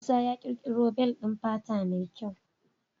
Musa ya ƙirƙoro bel ɗin fata mai kyau.